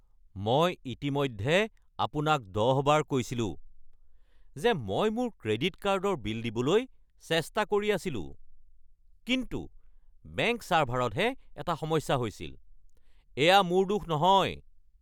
মই ইতিমধ্যে আপোনাক দহবাৰ কৈছিলোঁ যে মই মোৰ ক্ৰেডিট কাৰ্ডৰ বিল দিবলৈ চেষ্টা কৰি আছিলোঁ কিন্তু বেংক ছাৰ্ভাৰতহে এটা সমস্যা হৈছিল। এয়া মোৰ দোষ নহয়!